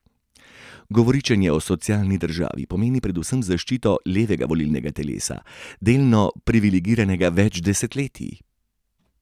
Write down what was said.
Govoričenje o socialni državi pomeni predvsem zaščito levega volilnega telesa, delno privilegiranega več desetletij.